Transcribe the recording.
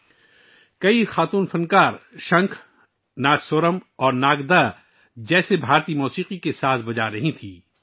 بہت سی خواتین فن کار کونچ، نادسورم اور ناگدا جیسے بھارتی موسیقی کے آلات بجا رہی تھیں